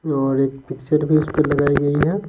और एक पिक्चर भी उस पर लगाई गई है।